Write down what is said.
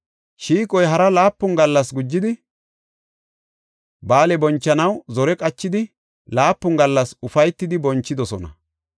Shiiqoy hara laapun gallas gujidi ba7aale bonchanaw zore qachidi laapun gallas ufaytidi bonchidosona.